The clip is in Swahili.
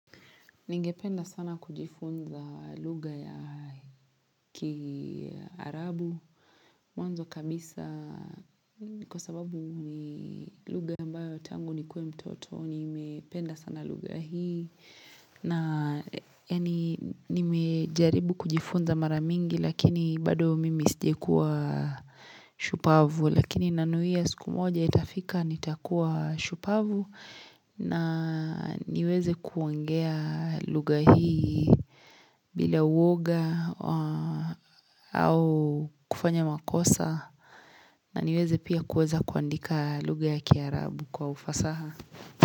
Ningependa sana kujifunza lugha ya kiarabu mwanzo kabisa kwa sababu ni lugha ambayo tangu nikuwe mtoto nimependa sana lugha hii na yaani nimejaribu kujifunza mara mingi lakini bado mimi sijawaikua shupavu lakini nanuia siku moja itafika nitakuwa shupavu na niweze kuongea lugha hii bila uwoga au kufanya makosa na niweze pia kuweza kuandika lugha ya kiarabu kwa ufasaha.